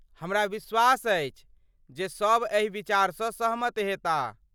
हमरा विश्वास अछि जे सभ एहि विचारसँ सहमत हेताह।